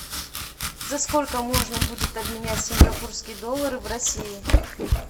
за сколько можно будет обменять сингапурские доллары в россии